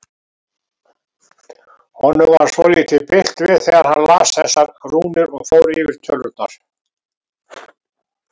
Honum varð svolítið bilt við þegar hann las þessar rúnir og fór yfir tölurnar.